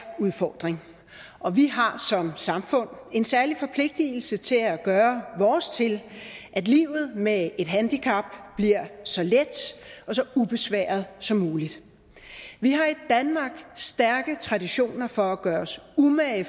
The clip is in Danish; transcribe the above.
udfordring og vi har som samfund en særlig forpligtelse til at gøre vores til at livet med et handicap bliver så let og så ubesværet som muligt vi har i danmark stærke traditioner for at gøre os umage